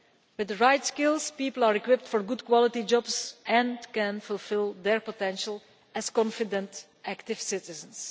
With the right skills, people are equipped for good quality jobs and can fulfil their potential as confident, active citizens.